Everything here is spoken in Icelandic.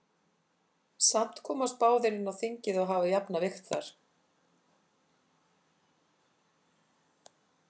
Samt komast báðir inn á þingið og hafa jafna vigt þar.